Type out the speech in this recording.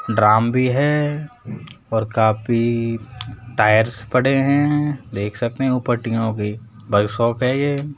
Drum भी है और कापी टायर्स पड़े हैं देख सकते हैं ऊपर टीनों की वर्कशॉप है ये।